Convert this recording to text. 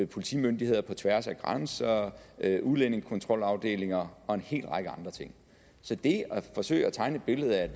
politimyndigheder på tværs af grænser udlændingekontrolafdelinger og en hel række andre ting så det at forsøge at tegne et billede af at